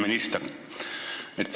Hea minister!